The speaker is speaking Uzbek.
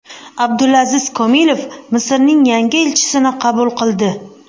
Abdulaziz Komilov Misrning yangi elchisini qabul qildi.